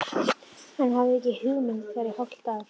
Hann hafði ekki komið þar í hálft ár!